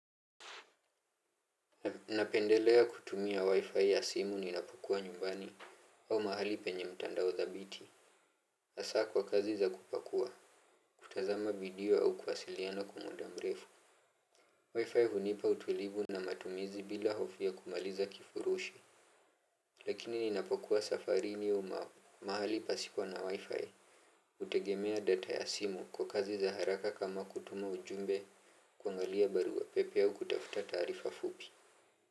Napendelea kutumia wi-fi ya simu ninapokua nyumbani au mahali penye mtandao thabiti. Asaa kwa kazi za kupakua, kutazama vidio au kuwasiliana kwa muda mrefu Wi-fi hunipa utulivu na matumizi bila hofu kumaliza kifurushu. Lakini ninapokua safari ni uma mahali pasipo na wi-fi. Utegemea data ya simu kwa kazi za haraka kama kutuma ujumbe kuangalia barua pepe au kutafuta tarifa fupi.